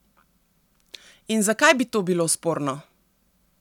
In zakaj bi to bilo sporno?